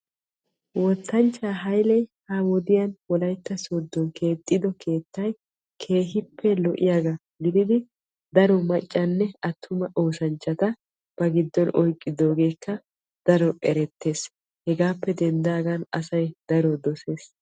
Wottanchchay halylle wolaytta soodon keexxiddo keettay keehippe lo'iyaaga ba giddonkka daro oosanchcha oyqqees. Hegappe denddagan asay daro dosees.